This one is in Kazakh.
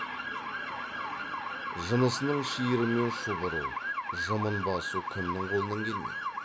жынысының шиырымен шұбыру жымын басу кімнің қолынан келмейді